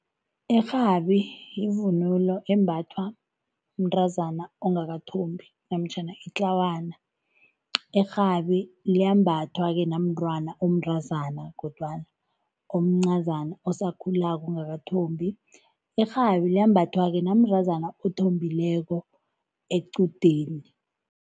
Irhabi yivunulo embathwa mntazana ongakathombi namtjhana itlawana. Irhabi liyambathwa ke namntwana omntazana kodwana omncazana osakhulako ongakathombi. Liyambathwa namntazana athombileko equdeni.